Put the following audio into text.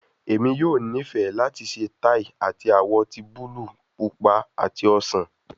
Emi yoo nifẹ lati ṣe tai ati awọ ti buluu, pupa ati osan